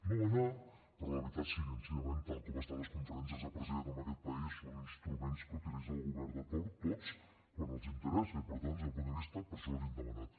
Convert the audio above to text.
no hi va anar però la veritat sincerament tal com estan les conferències de presidents en aquest país són instruments que utilitza el govern de torn tots quan els interessa i per tant des d’aquest punt de vista per això l’hi hem demanat